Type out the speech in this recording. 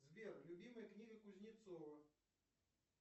сбер любимая книга кузнецова